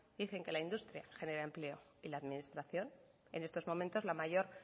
dicen que la industria genera empleo y la administración en estos momentos la mayor